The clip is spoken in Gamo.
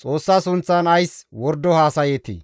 Xoossa sunththan ays wordo haasayeetii?